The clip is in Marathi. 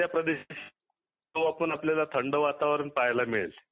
त्या प्रदेशात जातो आपल्याला थंड वातावरण पाहायला मिळेल